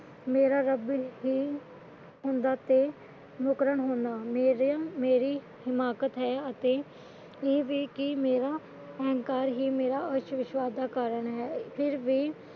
ਮੇਰਾ ਰੱਬ ਹੀ ਹੋਂਦਾ ਤੇ ਮੁਕਰਨ ਹੁੰਨਾ ਇਹ ਮੇਰੀ ਹਿਮਾਕਤ ਹੈ ਅਤੇ ਇਹ ਵੀ ਕਿ ਮੇਰਾ ਅਹੰਕਾਰ ਹੀ ਮੇਰਾ ਆਸ਼ਵਿਸ਼੍ਵਾਸ ਦਾ ਕਾਰਨ ਹੈ